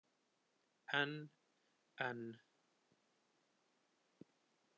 En. en.